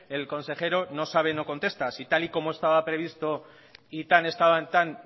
el consejero no sabe no contesta si tal y como estaba previsto y tan estaban tan